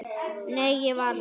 Nei, ég var þar